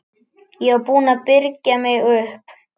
Ég var búin að byrgja mig upp.